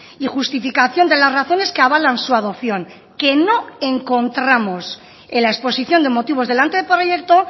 y justificación de las razones que avalan su adopción que no encontramos en la exposición de motivos del anteproyecto